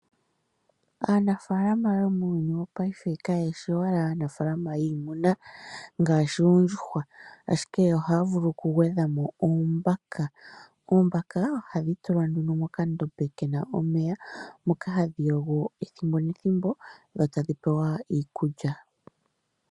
Aanafaalama yomuuyuni wopaife kayeshi owala aanafaalama yiimuna ngaashi oondjuhwa, ashike yo ohaya vulu okugwedha mo oombaka. Oombaka ohadhi tulwa nduno mokandombe ke na omeya, moka hadhi yogo ethimbo nethimbo, dho tadhi pewa iikulya.